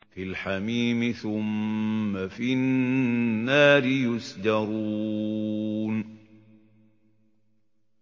فِي الْحَمِيمِ ثُمَّ فِي النَّارِ يُسْجَرُونَ